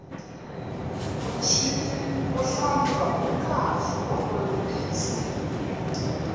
muchini wo hlantswa wu kahle wa olovisa